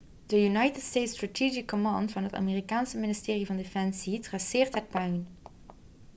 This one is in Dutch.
de united states strategic command van het amerikaanse ministerie van defensie traceert het puin